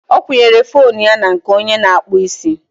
ọ kwụnyere foonu ya na nke onye na-akpụ isi